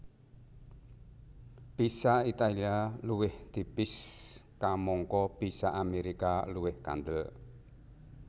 Pizza Italia luwih tipis kamangka pizza Amérika luwih kandel